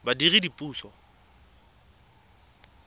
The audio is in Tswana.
badiredipuso